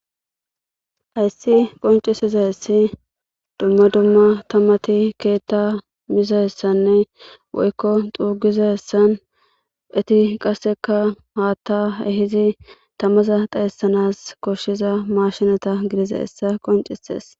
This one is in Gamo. Hays qociaizays dumma dumma tamata keta mizaysanne woyko xugizaysan eti qaseka hata ehid tamaza taysan koshiza mashineta gidizaysa qoncises.